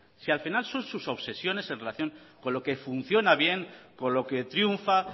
si al final son sus obsesiones en relación con lo que funciona bien con lo que triunfa